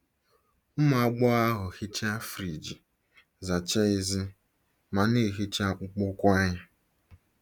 Ụmụ agbọghọ ahụ hichaa friji, zachaa èzí, ma na-ehicha akpụkpọ ụkwụ anyị.